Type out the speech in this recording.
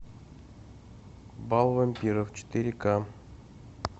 бал вампиров четыре к